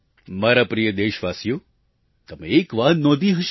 મારા પ્રિય દેશવાસીઓ તમે એક વાત નોંધી હશે